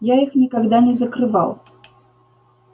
я их никогда не закрывал